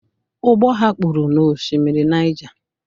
Ụgbọ ha kpụrụ n'Osimiri Niger